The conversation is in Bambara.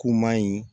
K'u ma ɲi